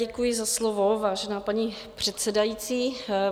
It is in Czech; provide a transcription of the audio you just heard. Děkuji za slovo, vážená paní předsedající.